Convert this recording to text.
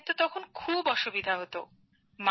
বাচ্চাদের তো তখন খুবই অসুবিধা হতো